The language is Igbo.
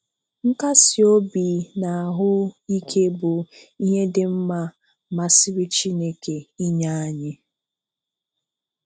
Nkasi obi na ahụ ike bụ ihe dị mma masịrị Chineke inye anyị.